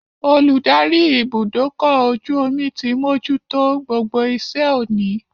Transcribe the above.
Olùdarí ibùdókọ̀-ojú-omi ti mojútó gbogbo iṣẹ́ òní